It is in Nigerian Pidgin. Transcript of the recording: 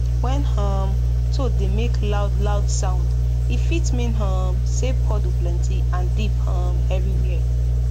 when um toad dey make loud loud sound e fit mean um say puddle plenty and deep um everywhere